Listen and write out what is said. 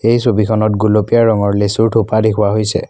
এই ছবিখনত গোলপীয়া ৰঙৰ লেচু থোপা দেখুৱা হৈছে।